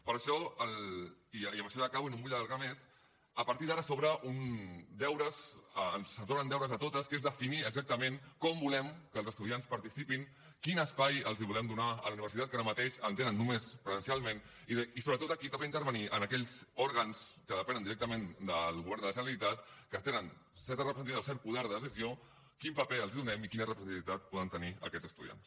per això i amb això ja acabo i no em vull allargar més a partir d’ara se’ns obren deures a totes que són definir exactament com volem que els estudiants participin quin espai els volem donar a la universitat que ara mateix en tenen només presencialment i sobretot a qui toca intervenir en aquells òrgans que depenen directament del govern de la generalitat que tenen certa representativitat o cert poder de decisió quin paper els donem i quina representativitat poden tenir aquests estudiants